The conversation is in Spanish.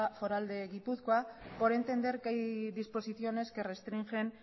foral de gipuzkoa por entender que hay disposiciones que restringen